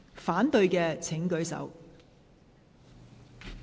反對的請舉手。